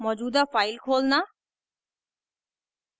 मौजूदा file खोलना